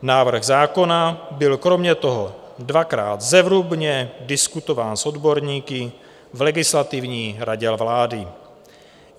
Návrh zákona byl kromě toho dvakrát zevrubně diskutován s odborníky v Legislativní radě vlády.